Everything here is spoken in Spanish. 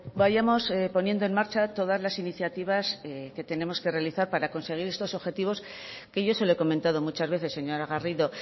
vayamos poniendo en marcha todas las iniciativas que tenemos que realizar para conseguir estos objetivos que yo se lo he comentado muchas veces señora garrido